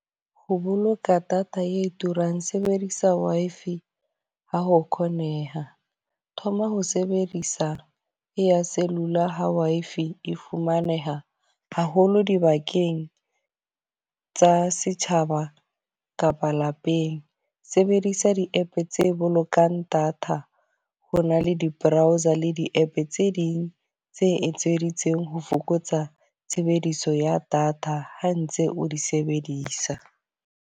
Ho boloka data e turang sebedisa Wi-Fi ha ho kgoneha. Thoma ho sebedisa e ya cellular ha Wi-Fi e fumaneha haholo dibakeng tsa setjhaba kapa lapeng. Sebedisa di app tse bolokang data. Ho na le di-browser le di-app tse ding tse etseditsweng ho fokotsa tshebediso ya data ha ntse o di sebedisa.